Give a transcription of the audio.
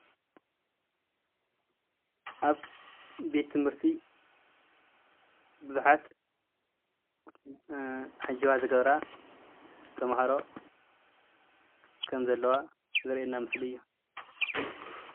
ኣብ ቤት ትምህርቲ ቡዙሓት ዓጀባ ዝገብራ ተማሃሮ ከም ዘለዋ ዘርእየና ምስሊ እዩ፡፡